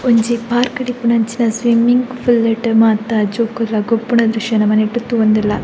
ಒಂಜಿ ಪಾರ್ಕ್ ಡ್ ಇಪ್ಪುನಂಚಿನ ಸ್ವಿಮ್ಮಿಂಗ್ ಪೂಲ್ ಲ್ಟ್ ಮಾತ ಜೋಕುಲ್ಲ ಗೊಬ್ಬುನ ದ್ರಶ್ಯ ನಮ ನೆಟ್ಟ್ ತೂವೊಂದುಲ್ಲ.